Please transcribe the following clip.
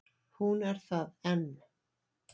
Hún er það enn.